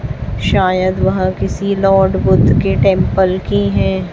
शायद वह किसी लॉर्ड बुद्ध के टेंपल की हैं।